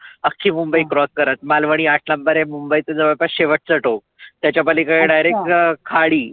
आख्खी मुंबई cross करत मालवनी आठ number आहे मुंबईच जवळपास शेवटच टोक. त्याच्या पलिकड Direct खाडी.